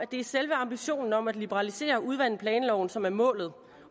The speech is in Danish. det er selve ambitionen om at liberalisere og udvande planloven som er målet